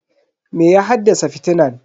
Me ya haddasa fitinan?